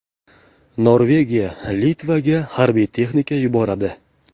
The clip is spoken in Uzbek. Norvegiya Litvaga harbiy texnika yuboradi.